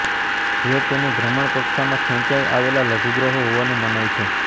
જે તેની ભ્રમણકક્ષામાં ખેંચાઇ આવેલા લઘુગ્રહો હોવાનું મનાય છે